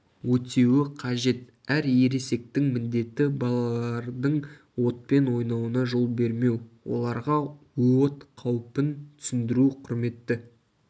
өтеуі қажет әр ересектің міндеті балалардың отпен ойнауына жол бермеу оларға от қаупін түсіндіру құрметті